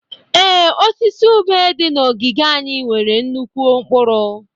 Ee, osisi ube dị na ogige anyị nwere nnukwu mkpụrụ.